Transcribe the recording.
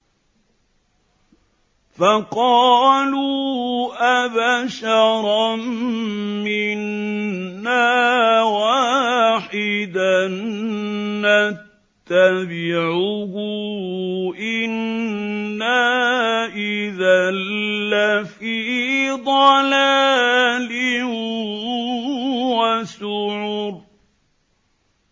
فَقَالُوا أَبَشَرًا مِّنَّا وَاحِدًا نَّتَّبِعُهُ إِنَّا إِذًا لَّفِي ضَلَالٍ وَسُعُرٍ